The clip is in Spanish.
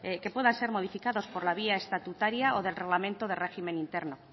que puedan ser modificados por la vía estatutaria o del reglamento de régimen interno